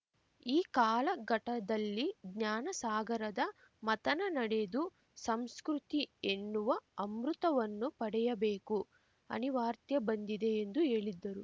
ಈ ಕಾಲಘಟ್ಟದಲ್ಲಿ ಜ್ಞಾನಸಾಗರದ ಮಥನ ನಡೆದು ಸಂಸ್ಕೃತಿ ಎನ್ನುವ ಅಮೃತವನ್ನು ಪಡೆಯಬೇಕು ಅನಿವಾರ್ತ್ಯೇ ಬಂದಿದೆ ಎಂದು ಹೇಳಿದ್ದರು